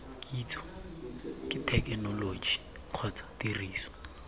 kitso ke thekenoloji kgotsa tiriso